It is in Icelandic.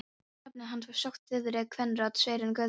Nafnið hans var sagt þýðri kvenrödd: Sveinn Guðmundsson?